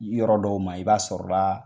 Li yɔrɔ dɔw ma , i b'a sɔrɔ la